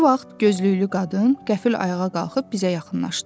Bu vaxt gözlüklü qadın qəfil ayağa qalxıb bizə yaxınlaşdı.